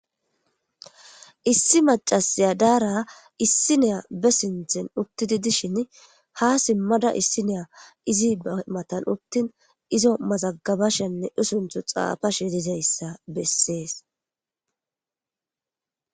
Issi macasiya daara issineya be sinthin uttidi dishin ha simmada issiniya izi matan uttin izo mazagabashenne usunthu xaafashe dizayssa bessees.